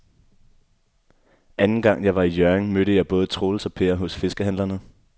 Anden gang jeg var i Hjørring, mødte jeg både Troels og Per hos fiskehandlerne.